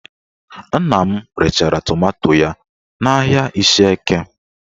Nna m rechara tomanto ya n'ahịa Ishieke